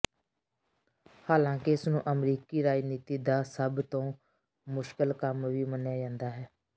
ਹਾਲਾਂਕਿ ਇਸ ਨੂੰ ਅਮਰੀਕੀ ਰਾਜਨੀਤੀ ਦਾ ਸਭ ਤੋਂ ਮੁਸ਼ਕਲ ਕੰਮ ਵੀ ਮੰਨਿਆ ਜਾਂਦਾ ਹੈ